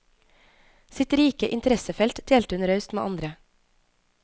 Sitt rike interessefelt delte hun raust med andre.